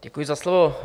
Děkuji za slovo.